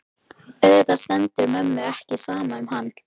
Auðvitað stendur mömmu ekki á sama um hana.